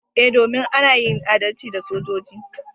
Eh, domin ana yin adalci da sojoji.